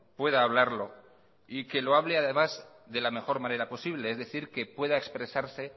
pueda hablarlo y que lo hable además de la mejor manera posible es decir que pueda expresarse